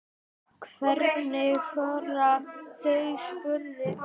Hvenær fara þau? spurði amma.